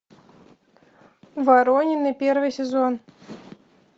воронины первый сезон